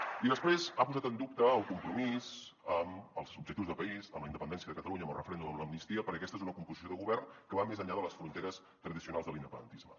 i després ha posat en dubte el compromís amb els objectius de país amb la independència de catalunya amb el referèndum amb l’amnistia perquè aquesta és una composició de govern que va més enllà de les fronteres tradicionals de l’independentisme